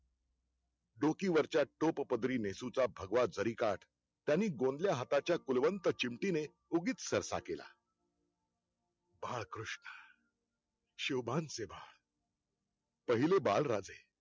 डोकीवरच्या टोप पदरीने नेसूंचा भगवा जरीकाठ, त्यांनी गोंदल्या हाताच्या कुलवंतचिमटी उगिच सरसा केला. बाळकृष्ण शिवबांचे बाळ पहिले बाळराजे